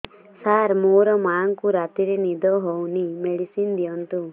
ସାର ମୋର ମାଆଙ୍କୁ ରାତିରେ ନିଦ ହଉନି ମେଡିସିନ ଦିଅନ୍ତୁ